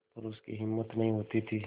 पर उसकी हिम्मत नहीं होती थी